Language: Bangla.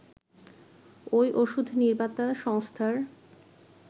ওই ওষুধ নির্মাতা সংস্থার